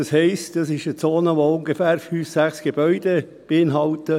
Das heisst: Es ist eine Zone, die ungefähr 5 bis 6 Gebäude beinhaltet.